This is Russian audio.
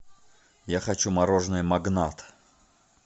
я хочу мороженое магнат